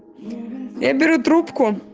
я беру трубку